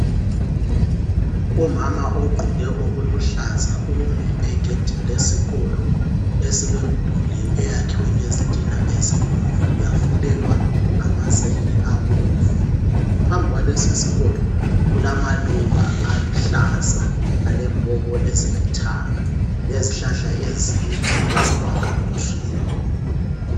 Umama ogqoke okuluhlaza umi egwdini lesikolo esilomdulu oyakhiwe ngezitina ezibomvu, yafulelwa ngamazenge abomvu. Phambi kwalesi sikolo kulamaluba aluhlaza alempoko ezilithanga lezihlahla ezinde ezama gum tree.